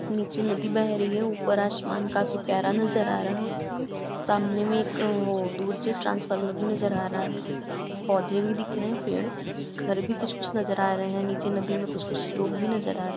नीचे नदी बह रही है। ऊपर आशमान काफी प्यारा नजर आ रहा। सामने में एक वो दूर से ट्रांसफर्मर भी नजर आ रहा पौधे भी दिख रहे हैं पेड़ घर भी कुछ कुछ नजर आ रहे है नीचे नदी में कुछ-कुछ लोग भी नजर आ रहें --